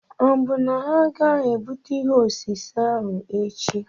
Ọ bụ na ha agaghị ebute ihe osise ahụ echi?